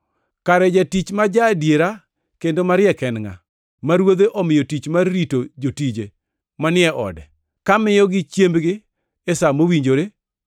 “Kare jatich ma ja-adiera kendo mariek en ngʼa, ma ruodhe omiyo tich mar rito jotije manie ode, ka miyogi chiembgi e sa mowinjore?